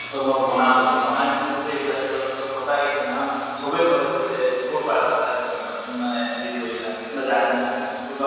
তʼ মই বনালো। বনাই মেলি চবে এগিলাছ এগিলাছ খালো, সঁচাকে সেইদিনাখন চবে কলে যে কৰ পৰা হেৰি পালা মানে হেৰি কৰিলা বা জানিলা কোনবা